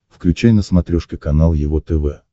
включай на смотрешке канал его тв